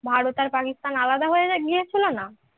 ভারত আর পাকিস্তান আলাদা হয়ে গিয়েছিল না